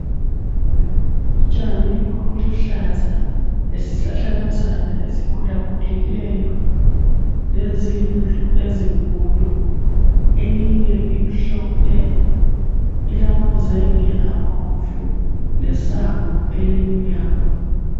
Utshani obuluhlaza lesi hlahlakazana esikhulakhulileyo lezindlu ezinkulu. Eyinye imhlophe, ilamazenge abomvu lesango elimnyama.